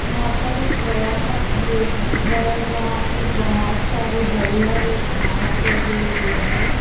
यहा पर एक बड़ा-सा खेत दिख रहा है जहा पे बहुत सारे हरे-हरे घास लगे हुए है।